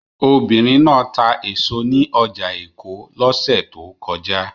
Obìnrin náà ta èso ní ọjà èkó lọ́sẹ̀ tó kọjá